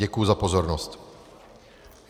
Děkuji za pozornost.